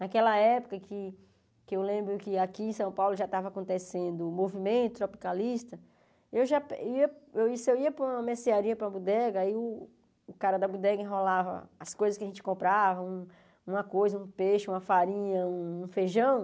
Naquela época, que que eu lembro que aqui em São Paulo já estava acontecendo o movimento tropicalista, eu já eu ia para uma mercearia, para uma bodega, aí o cara da bodega enrolava as coisas que a gente comprava, uma coisa, um peixe, uma farinha, um feijão.